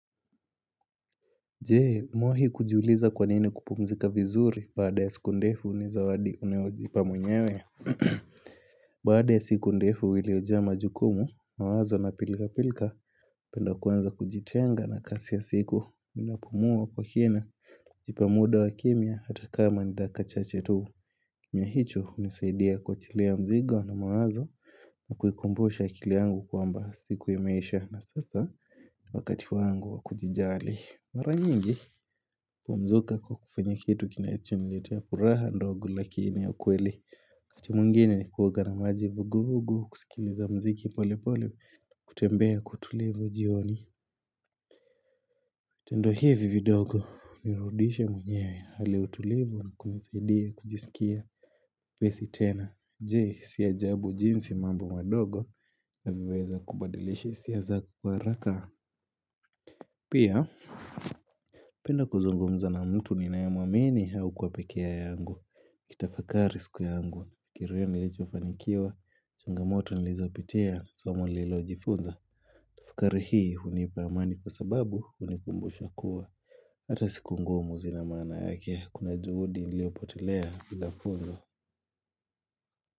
Je umewahi kujiuliza kwa nini kupumzika vizuri baada ya siku ndefu ni zawadi unayojipa mwenyewe? Baada ya siku ndefu iliyojaa majukumu, mawazo na pilka pilka Napenda kuanza kujitenga na kazi ya usiku ninapumua kwa kina jipa muda wa kimya hata kama ni daika chache tu Mya hicho hunisaidia kuachilia mzigo na mawazo na kuikumbusha akili yangu kwamba siku imeisha na sasa wakati wangu wakujijali Mara nyingi kwa mzuka kwa kufanya kitu kinachoniletea furaha ndogo lakini ya kweli Wakati mwingine huoga na maji vuguvugu kusikiliza mziki pole pole na kutembea kwa utulivu jioni Tendo hivi vidogo hunirudisha mwenye hali utulivu na kunisaidia kujisikia mwepesi tena Je si ajabu jinsi mambo madogo inavyoweza kubadilisha hisia zangu kwa haraka Pia naenda kuzungumza na mtu ninayemwamini au kuwa pekee yangu Nikitafakari siku yangu, kiruwe nilichofanikiwa changamoto nilizopitia, somo nililojifunza Fakari hii hunipa amani kwa sababu hunikumbusha kuwa Hata siku ngumu zina maana yake. Kuna juhudi iliyopotelea bila funzo.